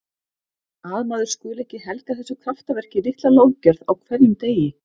Að maður skuli ekki helga þessu kraftaverki litla lofgjörð á hverjum degi.